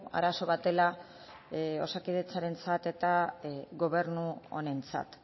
arazo bat dela osakidetzarentzat eta gobernu honentzat